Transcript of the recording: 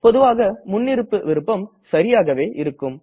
பொதுவாக முன்னிருப்பு விருப்பம் சரியாகவே இருக்கும்